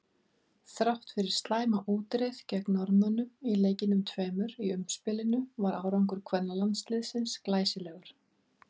Þrátt fyrir slæma útreið gegn Norðmönnum í leikjunum tveimur í umspilinu var árangur kvennalandsliðsins glæsilegur.